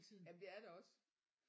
Jamen det er det også